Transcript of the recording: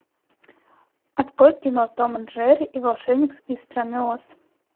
открой кино том и джерри и волшебник из страны оз